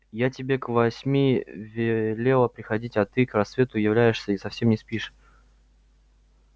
я тебе к восьми велела приходить а ты к рассвету являешься и совсем не спишь